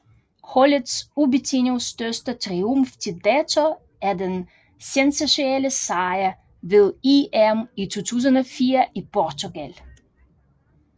Holdets ubetinget største triumf til dato er den sensationelle sejr ved EM i 2004 i Portugal